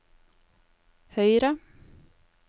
høyre